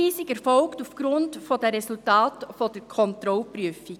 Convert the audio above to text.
Die Zuweisung erfolgt aufgrund der Resultate der Kontrollprüfung.